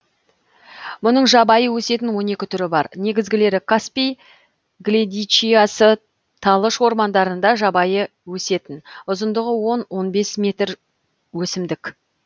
мұның жабайы өсетін он екі түрі бар негізгілері каспий гледичиясы талыш ормандарында жабайы өсетін ұзындығы он он бес метр өсімдік